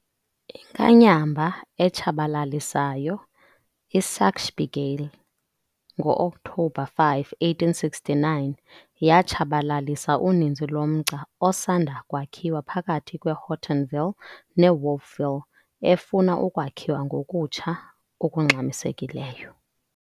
Inkanyamba etshabalalisayo "iSaxby Gale" ngo-Okthobha 5, 1869 yatshabalalisa uninzi lomgca osanda kwakhiwa phakathi kweHortonville neWolfville efuna ukwakhiwa ngokutsha okungxamisekileyo.